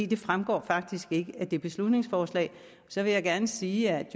det fremgår faktisk ikke af det beslutningsforslag så vil jeg gerne sige at